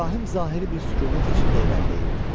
İbrahim zahiri bir sükunət içində irəliləyirdi.